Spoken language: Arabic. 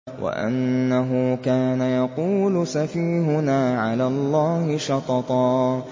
وَأَنَّهُ كَانَ يَقُولُ سَفِيهُنَا عَلَى اللَّهِ شَطَطًا